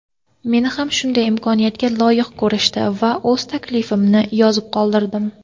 Meni ham shunday imkoniyatga loyiq ko‘rishdi va o‘z tilaklarimni yozib qoldirdim.